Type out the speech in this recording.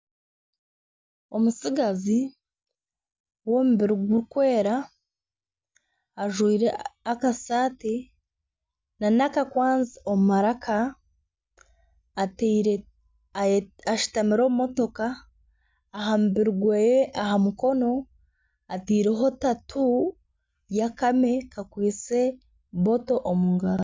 Omutsigazi w'omubiri gurikwera, ajwire akasaati nana akakwanzi omu maraka ashutamire omu matooka aha mubiri gwe aha mukona ataireho tatu y'akame kakwitse ecupa omu ngaro